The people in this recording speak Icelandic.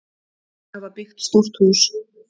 Þau hafa byggt stórt hús.